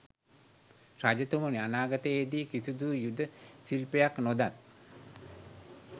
රජතුමනි, අනාගතයේ දී කිසිදු යුධ ශිල්පයක් නොදත්